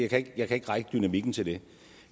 kan jeg ikke række dynamikken til det